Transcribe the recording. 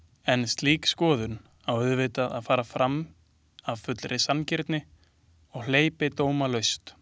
En slík skoðun á auðvitað að fara fram af fullri sanngirni og hleypidómalaust.